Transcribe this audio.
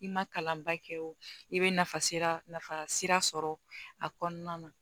I ma kalan ba kɛ o i bɛ nafa sira sɔrɔ a kɔnɔna na